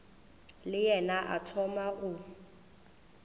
le yena a thoma go